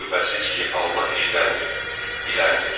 Şübhəsiz ki, Allah eşidəndir, biləndir.